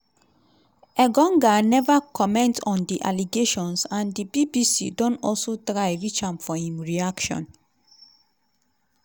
engonga neva comment on di allegations and di bbc don also try reach am for im reaction.